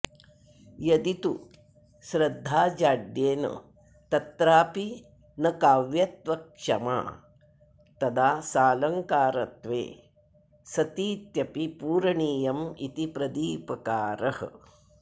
यदि तु श्रद्धाजाड्येन तत्रापि न काव्यत्वक्षमा तदा सालङ्कारत्वे सतीत्यपि पूरणीयमिति प्रदीपकारः